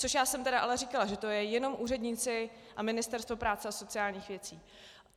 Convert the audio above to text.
Což já jsem tedy ale říkala, že to jsou jenom úředníci a Ministerstvo práce a sociálních věcí.